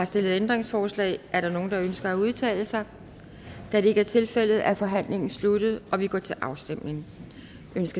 stillet ændringsforslag er der nogen der ønsker at udtale sig da det ikke er tilfældet er forhandlingen sluttet og vi går til afstemning